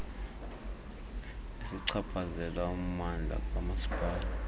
ezichaphazela ummandla kamasipala